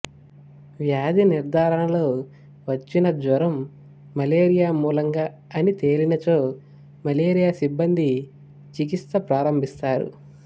వ్యాధి నిర్ధారణలో వచ్చిన జ్వరం మలేరియా మూలంగా అని తేలినచో మలేరియా సిబ్బంది చికిత్స ప్రారంభిస్తారు